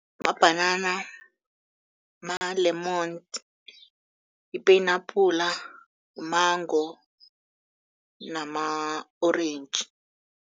Mabhanana, ma-lemon, ipenapula, u-mango nama-orentji.